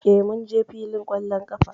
Eh, mun je fillin ƙwallon ƙafa